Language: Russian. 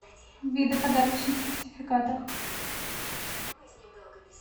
виды подарочных сертификатов